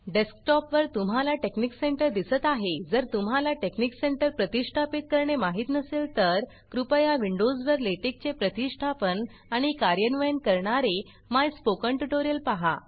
डेस्कटॉपवर तुम्हाला TeXnicCenter दिसत आहे जर तुम्हाला टेकनिक सेंटर प्रतिष्ठापीत करणे माहीत नसेल तर कृपया विंडोजवर लेटेक चे प्रतिष्ठापन आणि कार्यान्वयन करणारे माय स्पोकन ट्युटोरियल पहा